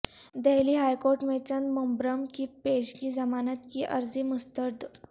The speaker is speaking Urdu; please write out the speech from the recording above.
دہلی ہائیکورٹ میں چدمبرم کی پیشگی ضمانت کی عرضی مسترد